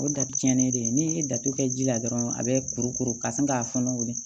O ye da cɛnnen de ye n'i ye datugu kɛ ji la dɔrɔn a bɛ kuru kuru ka sin k'a kɔnɔ